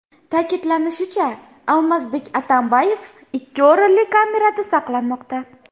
Ta’kidlanishicha, Almazbek Atambayev ikki o‘rinli kamerada saqlanmoqda.